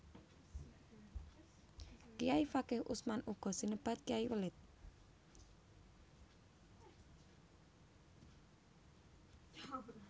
Kayai Fakih Usman uga sinebut Kyai Welit